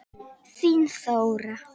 Þín Þóra.